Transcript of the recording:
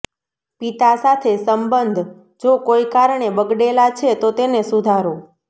પિતા સાથે સંબંધ જો કોઈ કારણે બગડેલા છે તો તેને સુધારો